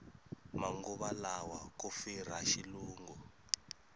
manguva lawa ku firha xilungu